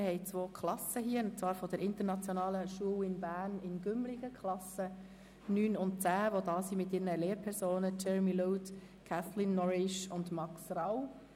Wir haben hier zwei Klassen, und zwar von der International School of Berne in Gümligen die Klassen 9 und 10, die mit ihren Lehrpersonen Jeremy Load, Kathleen Noridge und Max Rau.